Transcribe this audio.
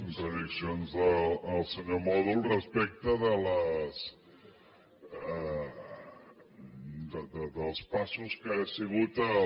contradiccions del senyor mòdol respecte dels passos que ha sigut el